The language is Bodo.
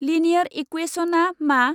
लिनियार इक्वेसनआ मा?